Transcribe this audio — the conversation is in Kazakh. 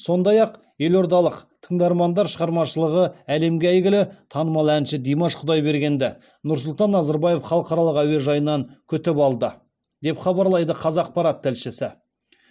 сондай ақ еордалық тыңдармандар шығармашылығы әлемге әйгілі танымал әнші димаш құдайбергенді нұрсұлтан назарбаев халықаралық әуежайынан күтіп алды деп хабарлайды қазақпарат тілшісі